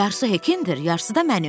Yarısı Hekindir, yarısı da mənim.